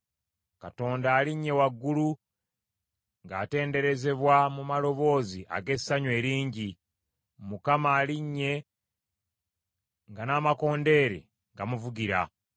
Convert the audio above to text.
Katonda alinnye waggulu ng’atenderezebwa mu maloboozi ag’essanyu eringi. Mukama alinnye nga n’amakondeere gamuvugira.